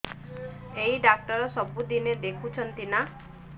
ଏଇ ଡ଼ାକ୍ତର ସବୁଦିନେ ଦେଖୁଛନ୍ତି ନା